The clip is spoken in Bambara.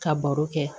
Ka baro kɛ